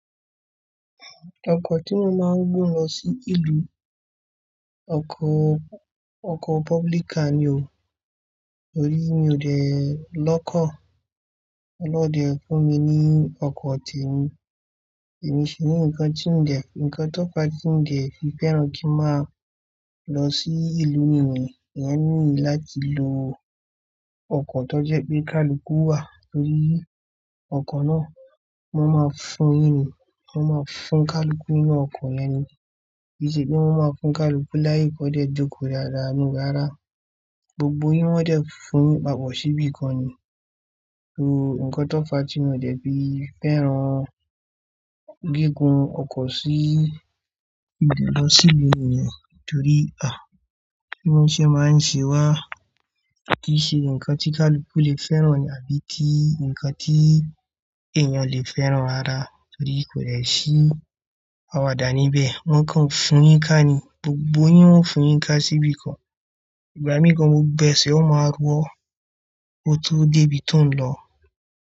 Ọkọ̀ tí mo máa ń gbé lọ sí ìlú, ọkọ, ọkọ̀ public ka ni o, torí mi ò dẹ lọ́kọ̀. Ọlọ́dẹ fún mi ní ọkọ̀ tèmi, èmi sì ní nǹkan tí ń dẹ̀, nǹkan tó fa tí ń dẹ̀ fi fẹ́ràn kí ń máa lọ sí ìlú mi nìyẹn. Ìyẹn ni láti lo ọkọ̀ tó jẹ́ pé kaluku wà torí ọkọ̀ náà wọ́n máa fún yin ni, wọ́n máa fún kaluku inú ọkọ̀ yẹn ni, kii ṣe pé wọ́n máa fún kaluku láàyè kọ́ dẹ̀ jókòó dáadáa no rárá Gbogbo yín wọn dẹ̀ fún papọ̀ ṣí ibìkan ni. So nǹkan tó fa tí mi o dẹ́ fi fẹ́ràn gígùn ọkọ̀ sí ìgbà lọ sí ìlú mi nìyẹn torí, à, bí wọ́n ṣe máa ń ṣe wá kì í ṣe ǹkan tí kaluku lè fẹ́ràn àbí ti ǹkan tí èèyàn lè fẹ́ràn rara torí kò lè ṣí àwàdà níbẹ̀. Wọn kàn ń fún yín ká ni, gbogbo yín wọn ń fún yín ká sí ibìkan. Ìgbà mìíràn gbogbo ọgbẹ́sẹ̀ ọ máa rọ́ ko tó dé ibi tó ń lọ.